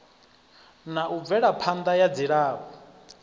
na u bvelaphanda ya dzilafho